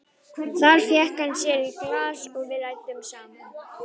Þar fékk hann sér í glas og við ræddum saman.